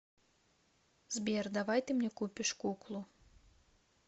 сбер давай ты мне купишь куклу